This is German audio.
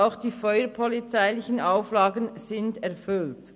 auch die feuerpolizeilichen Auflagen sind erfüllt.